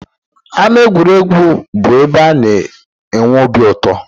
Ámá egwuregwu bụ ebe na-enwe obi uto